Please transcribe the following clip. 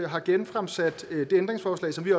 har genfremsat det ændringsforslag som vi